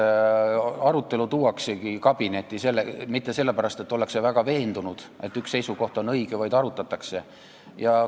Arutelu ei tooda kabinetti mitte sellepärast, et ollakse väga veendunud, et üks seisukoht on õige, vaid selleks, et arutada.